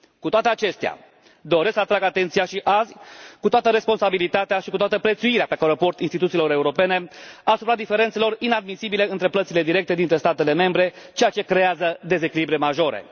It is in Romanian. Cu toate acestea, doresc să atrag atenția și azi, cu toată responsabilitatea și cu toată prețuirea pe care o port instituțiilor europene, asupra diferențelor inadmisibile între plățile directe dintre statele membre, ceea ce creează dezechilibre majore.